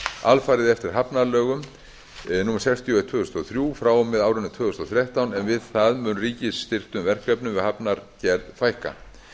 alfarið eftir hafnalögum númer sextíu og eitt tvö þúsund og þrjú frá og með árinu tvö þúsund og þrettán en við það mun ríkisstyrktum verkefnum við hafnargerð fækka